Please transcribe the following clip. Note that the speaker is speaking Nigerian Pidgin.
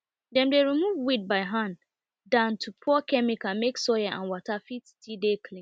dem dey remove weed by hand than to pour chemical make soil and water fit still dey clean